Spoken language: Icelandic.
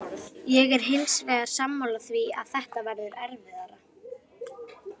Ég er hins vegar sammála því að þetta verður erfiðara.